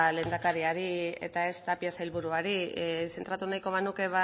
lehendakariari eta ez tapia sailburuari zentratu nahiko banuke